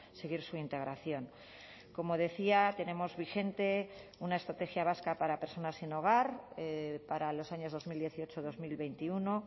seguir su integración como decía tenemos vigente una estrategia vasca para personas sin hogar para los años dos mil dieciocho dos mil veintiuno